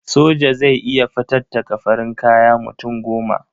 Soja zai iya fatattaka farin kaya mutum goma.